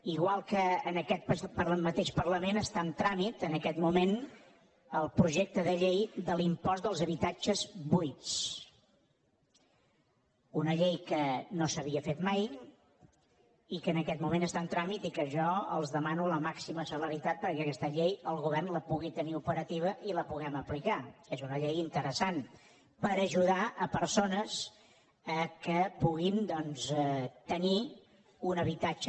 igual que en aquest mateix parlament està en tràmit en aquest moment el projecte de llei de l’impost dels habitatges buits una llei que no s’havia fet mai i que en aquest moment està en tràmit i que jo els demano la màxima celeritat perquè aquesta llei el govern la pugui tenir operativa i la puguem aplicar que és una llei interessant per ajudar persones que puguin doncs tenir un habitatge